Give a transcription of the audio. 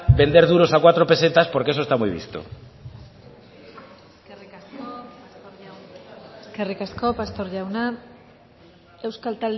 vender duros a cuatro pesetas porque eso está muy visto eskerrik asko pastor jauna euskal